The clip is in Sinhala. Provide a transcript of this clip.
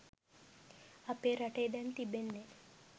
අපේ රටේ දැන් තිබෙන්නේ